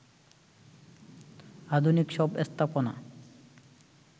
আধুনিক সব স্থাপনা